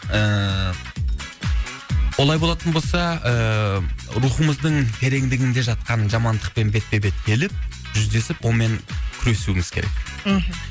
ііі олай болатын болса ііі рухымыздың тереңдігінде жатқан жамандықпен бетпе бет келіп жүздесіп олмен күресуіміз керек мхм